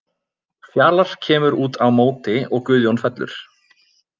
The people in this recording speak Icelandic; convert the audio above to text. Fjalar kemur út á móti og Guðjón fellur.